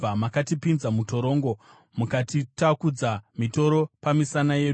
Makatipinza mutorongo mukatitakudza mitoro pamisana yedu.